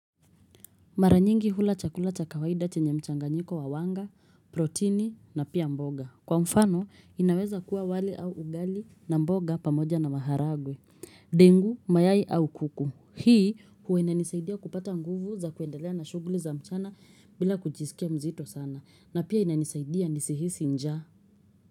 Mara nyingi hula chakula cha kawaida chenye mchanganyiko wa wanga, protini na pia mboga. Kwa mfano, inaweza kuwa wali au ugali na mboga pamoja na maharagwe, dengu, mayai au kuku. Hii huwa inanisaidia kupata nguvu za kuendelea na shughuli za mchana bila kujisikia mzito sana. Na pia inanisaidia nisihisi njaa.